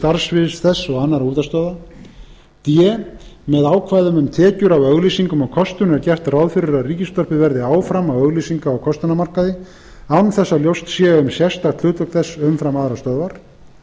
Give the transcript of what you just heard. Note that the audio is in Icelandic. starfssviðs þess og annarra útvarpsstöðva d með ákvæðum um tekjur af auglýsingum og kostun er gert ráð fyrir að ríkisútvarpið verði áfram á auglýsinga og kostunarmarkaði án þess að ljóst sé um sérstakt hlutverk þess umfram aðrar stöðvar